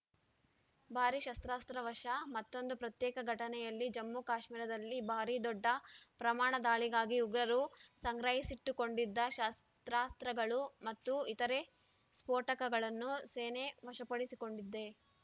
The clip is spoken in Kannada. ಭಾರಿ ಶಸ್ತ್ರಾಸ್ತ್ರ ವಶ ಮತ್ತೊಂದು ಪ್ರತ್ಯೇಕ ಘಟನೆಯಲ್ಲಿ ಜಮ್ಮುಕಾಶ್ಮೀರದಲ್ಲಿ ಭಾರೀ ದೊಡ್ಡ ಪ್ರಮಾಣ ದಾಳಿಗಾಗಿ ಉಗ್ರರು ಸಂಗ್ರಹಿಸಿಟ್ಟುಕೊಂಡಿದ್ದ ಶಸ್ತ್ರಾಸ್ತ್ರಗಳು ಮತ್ತು ಇತರೆ ಸ್ಫೋಟಕಗಳನ್ನು ಸೇನೆ ವಶಪಡಿಸಿಕೊಂಡಿದೆ